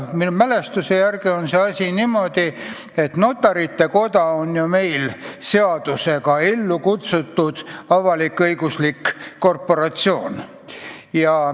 Minu mälestuse järgi on asi niimoodi, et notarite koda on meil seadusega ellu kutsutud avalik-õiguslik korporatsioon.